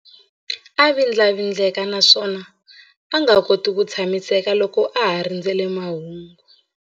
A vindlavindleka naswona a nga koti ku tshamiseka loko a ha rindzerile mahungu.